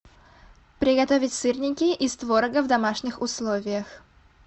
приготовить сырники из творога в домашних условиях